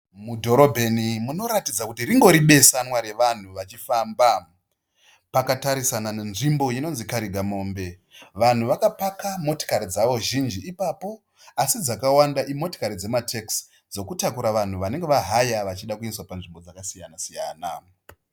Mudhorobheni munoratidza kuti ringori besanwa revanhu vachifamba. Pakatarisana nenzvimbo inonzi karigamombe, vanhu vakapaka motikari dzavo zhinji ipapo. Asi dzakawanda imotokari dzema tekisi dzinotakura vanhu vanenge va haya vachida kuendeswa kunzvimbo dzakasiyana siyana.